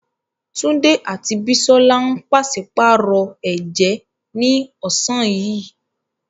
Tunde àti Bisola ń pàṣípààrọ̀ ẹ̀jẹ́ ní ọ̀sán yìí.